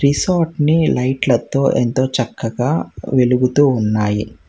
రిసార్ట్ని లైట్ల తో ఎంతో చక్కగా వెలుగుతూ ఉన్నాయి.